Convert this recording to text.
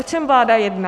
O čem vláda jedná?